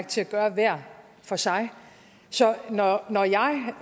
til at gøre hver for sig så når